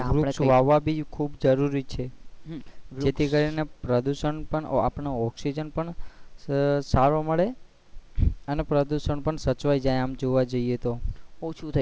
વૃક્ષ વાવવા ભી ખુબ જરૂરી છે જે થી કરી ને પ્રદુષણ પણ આપણને oxygen પણ સારું મળે અને પ્રદુશન પણ સચવાઈ જાય આમ જોવા જઇયે તો